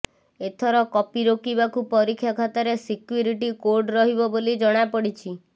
ଏଥର କପି ରୋକିବାକୁ ପରୀକ୍ଷା ଖାତାରେ ସିକ୍ୟୁରିଟି କୋଡ ରହିବ ବୋଲି ଜଣାପଡିଛି